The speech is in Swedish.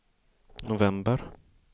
november